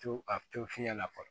To a to fiɲɛ la fɔlɔ